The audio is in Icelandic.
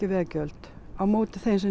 veggjöld á móti þeim sem